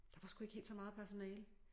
Der var sgu ikke helt så meget personale